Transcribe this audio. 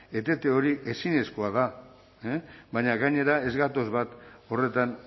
etete hori ezinezkoa da baina gainera ez gatoz bat horretan